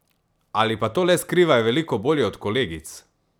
Ali pa to le skrivajo veliko bolje od kolegic?